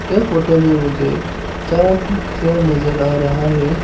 यह फोटो में मुझे चार ठो चेयर नजर आ रहा है।